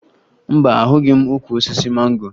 Mba, ahụghị m ukwu osisi mango